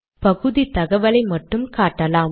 பகுதி தகவலை மட்டும் காட்டலாம்